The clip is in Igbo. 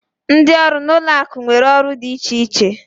Ndị ọrụ na ụlọ akụ nwere ọrụ dị iche iche